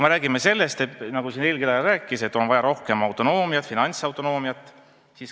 Eelkõneleja rääkis, et on vaja rohkem finantsautonoomiat.